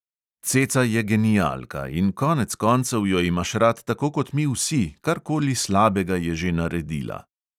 Ceca je genialka in konec koncev jo imaš rad tako kot mi vsi, karkoli slabega je že naredila.